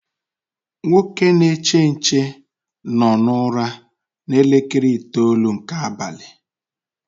Nwoke na-eche nche no na ụra na elekere itoolu nke abalị